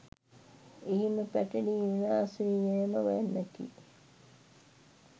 එහිම පැටලී විනාශ වී යෑම වැන්නකි.